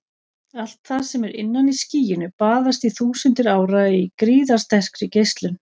Allt það sem er innan í skýinu baðast í þúsundir ára í gríðarsterkri geislun.